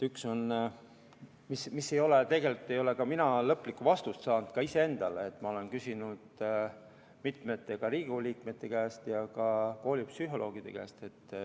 Üks on see, millele tegelikult ei ole mina lõplikku vastust saanud, ehkki ma olen küsinud mitmete Riigikogu liikmete käest ja ka koolipsühholoogide käest.